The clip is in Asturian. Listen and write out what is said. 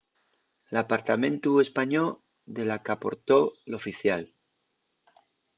l’apartamentu españó de la qu’aportó l’oficial